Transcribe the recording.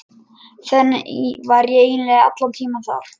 Þannig var ég eiginlega allan tímann þar.